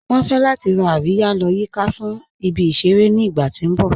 Wọn fẹ̀ lati rá àríyà lọ́ yìká fún ìbí-iṣẹ̀rẹ̀ ní ìgbà ti n bọ̀.